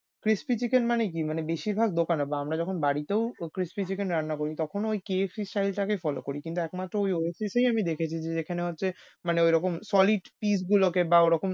crispy chicken মানে কি? মানে বেশির ভাগ দোকানে বা আমরা যখন বারিতেও crispy chicken রান্না করি তখন ওই KFC style টা কেই follow করি কিন্তু একমাত্র Oasis এই আমি দেখেছি যে যেখানে হচ্ছে মানে ওইরকম solid piece গুলোকে বা ওরকম